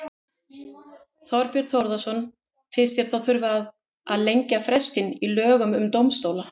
Þorbjörn Þórðarson: Finnst þér þá þurfa að lengja frestinn í lögum um dómstóla?